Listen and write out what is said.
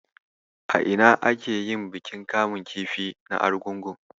A ina ake yin bikin kamun kifi na Argungu?